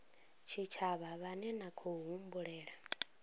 tshitshavha vhane na khou humbulela